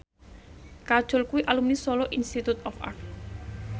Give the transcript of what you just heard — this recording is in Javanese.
Kajol kuwi alumni Solo Institute of Art